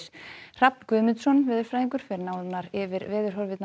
Hrafn Guðmundsson veðurfræðingur fer nánar yfir